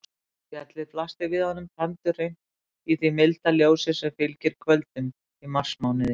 Fjallið blasti við honum tandurhreint í því milda ljósi sem fylgir kvöldum í marsmánuði.